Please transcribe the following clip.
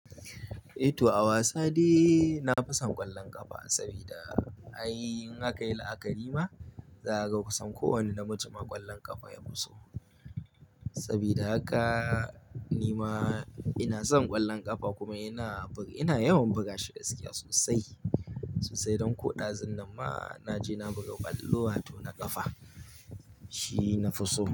Eh to, a wasa de na fi son ƙwallon ƙafa sabida in aka yi la'akari ma, za a ga kusan kowane namiji ma ƙwallon ƙafa ya fi so. Saboda haka ni ma ina son ƙwallon ƙafa kuma ina yawan buga shi da sauƙi sosai. Sosai don ko ɗazun nan ma na je na buga kwallo ato na ƙafa shi nafi so.